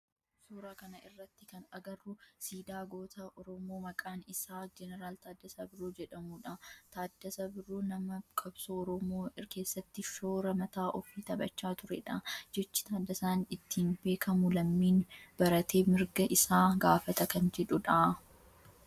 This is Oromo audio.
Suuraa kana irratti kan agarru siidaa goota oromoo maqaan isaa jeneraal Taaddasaa Birruu jedhamudha. Taaddasaa Birruu nama qabsoo oromoo keessatti shoora mataa ofi taphachaa turedha. Jechi Taaddasaan ittin beekamu "lammiin barate mirga isaa gaafata kan jedhudha.